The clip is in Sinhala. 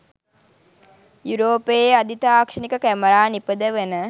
යුරෝපයේ අධි තාක්ෂණික කැමරා නිපදවන